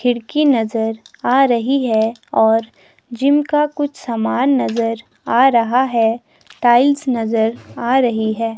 खिड़की नजर आ रही है और जिम का कुछ सामान नजर आ रहा है टाइल्स नजर आ रही है।